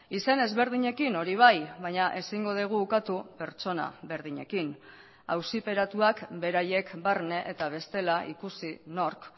izen ezberdinekin hori bai baina ezingo dugu ukatu pertsona berdinekin auziperatuak beraiek barne eta bestela ikusi nork